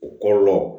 U kɔlɔlɔ